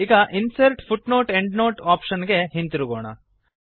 ಈಗ insert footnote endnote option ಗೆ ಹಿಂತಿರುಗೋಣ